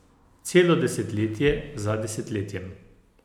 Celo desetletje za desetletjem!